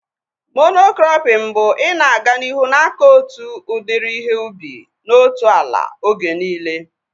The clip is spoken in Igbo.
Mono-krọpin bụ ị na-aga n'ihu akọ otu udiri ihe ubi na otu ala oge niile